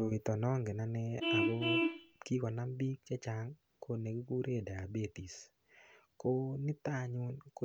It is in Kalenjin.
Koroito nongen ane ako kokonam biik chechang' ko ne kikure diabetes ko nito anyun ko